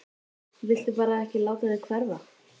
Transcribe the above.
Viltu bara ekki láta þig hverfa?